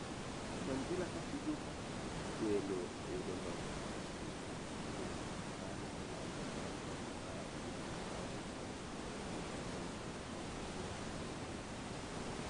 Aston Villa katugo kaka welo uyodo loch mar lig maduong' mar England bang' loch mar 0-1 ei tugo giWest harm